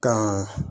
Ka